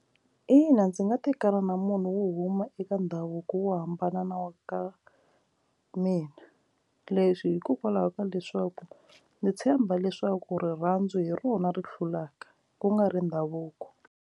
Ina ndzi nga tekana na munhu wo huma eka ndhavuko wo hambana na wa ka mina leswi hikokwalaho ka leswaku ndzi tshemba leswaku rirhandzu hi rona ri hlulaka ku nga ri ndhavuko.